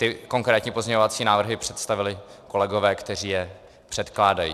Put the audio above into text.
Ty konkrétní pozměňovací návrhy představili kolegové, kteří je předkládají.